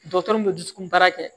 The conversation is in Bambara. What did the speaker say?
Dɔgɔtɔrɔ min bɛ dusukun baara kɛ